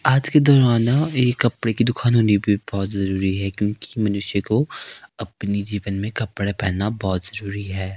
आज के दौरान एक कपड़े की दुकान होनी भी बहुत जरूरी है क्योंकि मनुष्य को अपनी जीवन में कपड़े पहनना बहुत जरूरी है।